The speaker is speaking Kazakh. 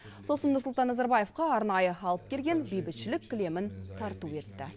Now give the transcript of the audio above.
сосын нұрсұлтан назарбаевқа арнайы алып келген бейбітшілік кілемін тарту етті